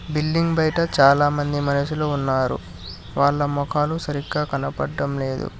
Billing బయట చాలామంది మనసులు ఉన్నారు వాళ్ళ మొఖాలు సరిగ్గా కనబడటం లేదు.